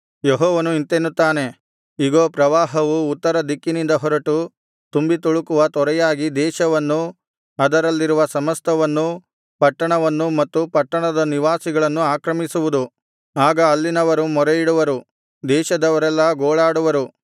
ಯೆಹೋವನು ಇಂತೆನ್ನುತ್ತಾನೆ ಇಗೋ ಪ್ರವಾಹವು ಉತ್ತರದಿಕ್ಕಿನಿಂದ ಹೊರಟು ತುಂಬಿತುಳುಕುವ ತೊರೆಯಾಗಿ ದೇಶವನ್ನೂ ಅದರಲ್ಲಿರುವ ಸಮಸ್ತವನ್ನೂ ಪಟ್ಟಣವನ್ನೂ ಮತ್ತು ಪಟ್ಟಣದ ನಿವಾಸಿಗಳನ್ನೂ ಆಕ್ರಮಿಸುವುದು ಆಗ ಅಲ್ಲಿನವರು ಮೊರೆಯಿಡುವರು ದೇಶದವರೆಲ್ಲಾ ಗೋಳಾಡುವರು